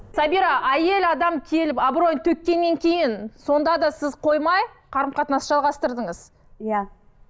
сабира әйел адам келіп абыройын төккеннен кейін сонда да сіз қоймай қарым қатынасты жалғастырдыңыз иә